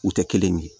U tɛ kelen ye